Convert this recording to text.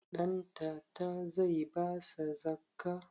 Ɗantata zai basa zakkah?